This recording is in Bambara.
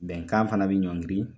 Bɛnkan fana bɛ ɲɔngiri